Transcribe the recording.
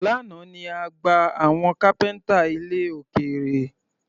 Lánàá ni a gba àwọn kápẹ́ńtà ilẹ̀ òkèrè.